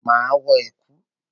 Máa wọ ẹ̀kú.